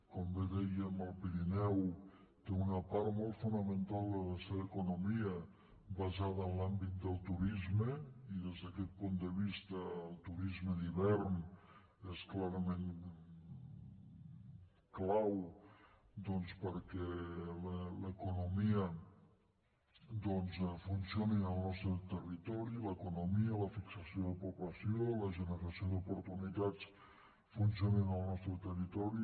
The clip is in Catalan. com bé dèiem el pirineu té una part molt fonamental de la seva economia basada en l’àmbit del turisme i des d’aquest punt de vista el turisme d’hivern és clarament clau doncs perquè l’economia funcioni en el nostre territori l’economia la fixació de població la generació d’oportunitats funcionin al nostre territori